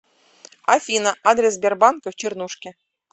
афина адрес сбербанка в чернушке